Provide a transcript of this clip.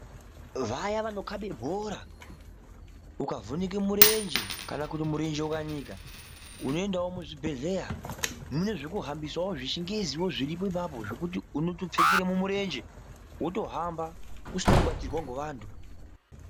Vaya vanokaba bhora ukavhunika murenje kana kuti murenje ukanika unoendawo muzvibhedhlera mune zvekuhambisa zvechingezi zviriko ipapo zvekuti unotopfekeramo murenje wotohamba usina kubatsirwa ngevantu.